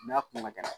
N'a kun ka gɛlɛn